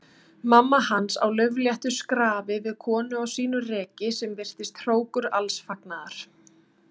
Mamma hans á laufléttu skrafi við konu á sínu reki sem virtist hrókur alls fagnaðar.